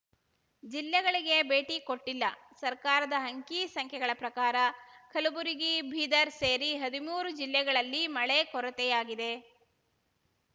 ಜಿಲ್ಲೆಗಳಿಗೆ ಭೇಟಿ ಕೊಟ್ಟಿಲ್ಲ ಸರ್ಕಾರದ ಅಂಕಿಸಂಖ್ಯೆಗಳ ಪ್ರಕಾರ ಕಲಬುರಗಿ ಬೀದರ್ ಸೇರಿ ಹದಿಮೂರು ಜಿಲ್ಲೆಗಳಲ್ಲಿ ಮಳೆ ಕೊರತೆಯಾಗಿದೆ